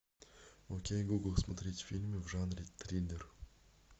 окей гугл смотреть фильмы в жанре триллер